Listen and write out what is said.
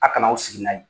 A kana aw sigi n'a ye